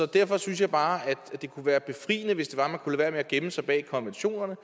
derfor synes jeg bare at det kunne være befriende hvis man kunne lade være med at gemme sig bag konventionerne